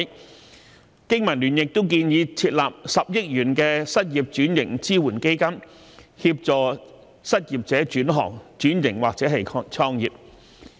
香港經濟民生聯盟建議設立10億元的失業轉型支援基金，協助失業者轉行、轉型或創業。